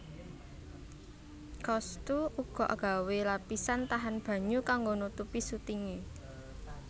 Cousteau uga gawé lapisan tahan banyu kanggo nutupi sutinge